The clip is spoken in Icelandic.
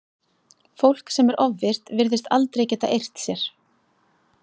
Fólk sem er ofvirkt virðist aldrei geta eirt sér.